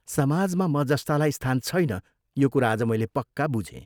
समाजमा म जस्तालाई स्थान छैन यो कुरा आज मैले पक्का बुझे।